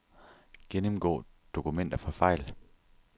Gennemgå dokumenter for fejl.